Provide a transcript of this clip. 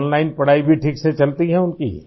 کیا یہ online پڑھائی بھی ٹھیک طرح سے چلتی ہیں؟